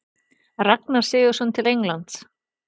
Ragnar Sigurðsson til Englands?